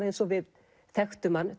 eins og við þekktum hann